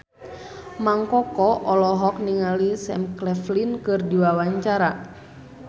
Mang Koko olohok ningali Sam Claflin keur diwawancara